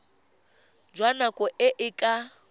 jwa nako e e ka